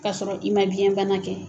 K'a sɔrɔ i ma biyɛn bana kɛ.